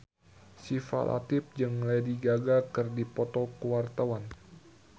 Syifa Latief jeung Lady Gaga keur dipoto ku wartawan